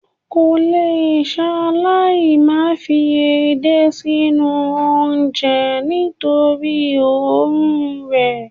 o kòle salai mai fi edé sinu onje nitori oorun rẹ